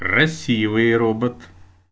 красивые робот